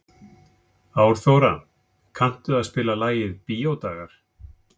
Árþóra, kanntu að spila lagið „Bíódagar“?